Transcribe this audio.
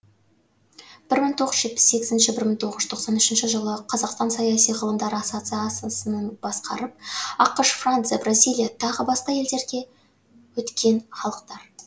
бір мың тоғыз жүз жетпіс сегізінші бір мың оғыз жүз тоқсан үшінші жылы қазақстан саяси ғылымдар ассоциациясының басқарып ақш франция бразилия тағы басқа елдерге өткен халықтар